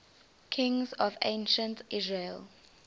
kings of ancient israel